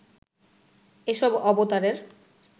এসব অবতারের